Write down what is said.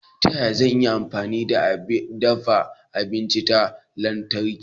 Ta yaya zan iya amfani da abin dafa abinci na lantarki?